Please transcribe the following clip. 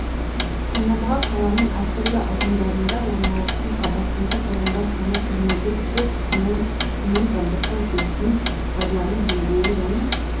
таңдамаға қаланың әртүрлі аудандарында орналасқан қабаттылығы тұрғындар саны кірмеде су қысымы сумен жабдықтау жүйесін пайдалану деңгейі және